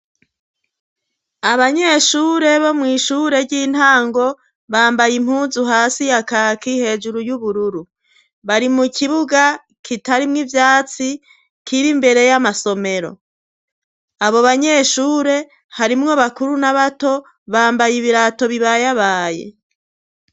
Abanyeshure bo mw' ishure ry'intango, bambaye impunzu hasi ya kaki hejuru y'ubururu. Bari mu kibuga kitarimwo ivyatsi, kiri imbere y'amasomero. Abo banyeshure harimwo bakuru n'abato bambaye ibirato bibayabaye.